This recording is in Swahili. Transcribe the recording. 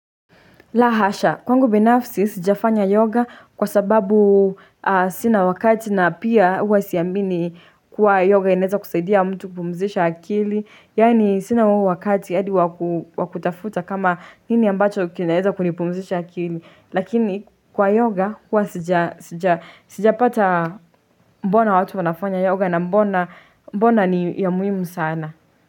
La hasha, kwangu binafsi sijafanya yoga kwa sababu sina wakati na pia hua siyamini kuwa yoga ineza kusaidia mtu kupumzisha akili. Yani sina huu wakati hadi wakutafuta kama nini ambacho kineza kunipumzisha akili. Lakini kwa yoga hua sijapata mbona watu wanafanya yoga na mbona mbona ni ya muhimu sana.